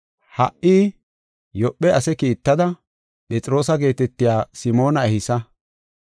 Ha77i Yoophe ase kiittada, Phexroosa geetetiya Simoona ehisa.